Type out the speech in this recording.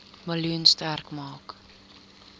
miljoen sterk maak